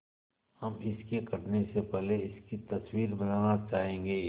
हम इसके कटने से पहले इसकी तस्वीर बनाना चाहेंगे